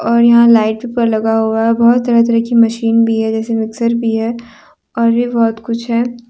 और यहां लाइट पर लगा हुआ है बहोत तरह तरह की मशीन भी है जैसे मिक्सर भी है और भी बहुत कुछ है।